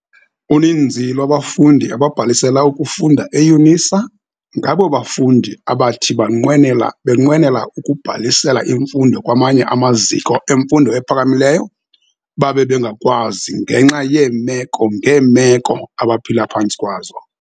Uninzi lwabafundi ababhalisela ukufunda eYunisa, ngabo bafundi abathi banqwenela benqwenela ukubhalisela imfundo kwamanye amaziko emfundo ephakamileyo, babe bengakwazi ngenxa yeemeko-ngeemeko abaphila phantsi kwazo.